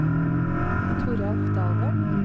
Toralf Dalen